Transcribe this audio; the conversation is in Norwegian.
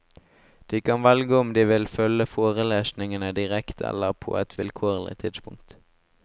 De kan velge om de vil følge forelesningene direkte eller på et vilkårlig tidspunkt.